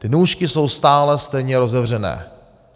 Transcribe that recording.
Ty nůžky jsou stále stejně rozevřené.